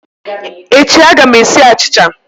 Echi a ga m esi achicha